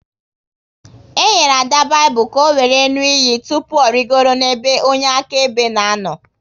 E nyere Ada Baịbụl ka ọ wéré ṅụọ iyi tụpụ ọ rịgoro n'ebe onye akaebe na-anọ